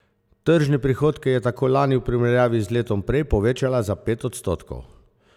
Tržne prihodke je tako lani v primerjavi z letom prej povečala za pet odstotkov.